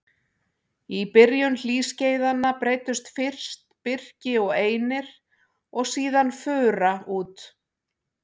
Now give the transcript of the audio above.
Í byrjun hlýskeiðanna breiddust fyrst birki og einir og síðan fura út.